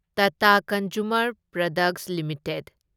Tata consumer products limited